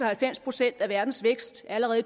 at halvfems procent af verdens vækst allerede